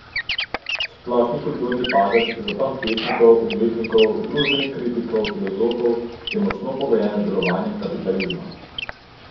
Splošen kulturni padec, zaton pesnikov, umetnikov, družbenih kritikov, filozofov, je močno pogojen z delovanjem kapitalizma.